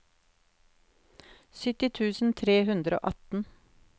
sytti tusen tre hundre og atten